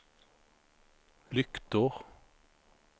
lyktor